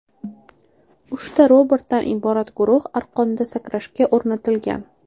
Uchta robotdan iborat guruh arqonda sakrashga o‘rnatilgan.